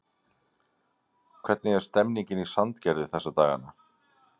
Hvernig er stemningin í Sandgerði þessa dagana?